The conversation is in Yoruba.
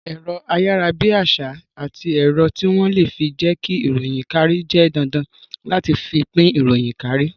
Ẹ̀rọ ayarabiasa àti ẹ̀rọ tí wón le fi jẹ ki ìròyìn kárí jẹ́ dandan láti fi pín ìròyìn kárí